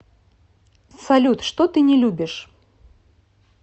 салют что ты не любишь